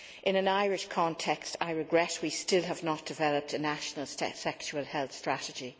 In an Irish context, I regret we still have not developed a national sexual health strategy.